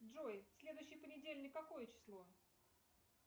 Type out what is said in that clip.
джой следующий понедельник какое число